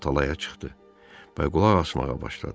O talaya çıxdı və qulaq asmağa başladı.